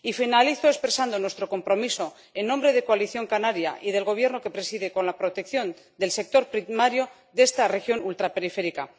Y finalizo expresando nuestro compromiso en nombre de Coalición Canaria y del gobierno que preside con la protección del sector primario de esta región ultraperiférica.